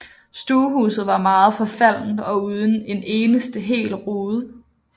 Stuehuset var meget forfaldent og uden en eneste hel rude